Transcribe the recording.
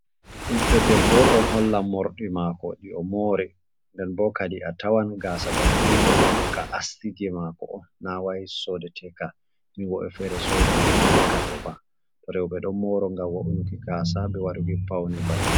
Ɓiɗdo debbo ɗo hollan morɗi mako ɗi o mori denbo kadi a tawan gasa banni ɗo kam ka astiki mako na wai sodeteka, ni wobɓe fere ɗo soda takka ɗou ba, rewɓe ɗon moro ngam wo inuki gasa be waduki paune mauɓe.